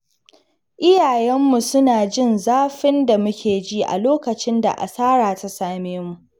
Iyayenmu suna jin zafin da muke ji a lokacin da asara ta same mu.